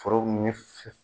Forow ɲɛ